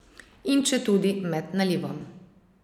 In četudi med nalivom.